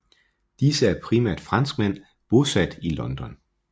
Disse er primært franskmænd bosat i Libanon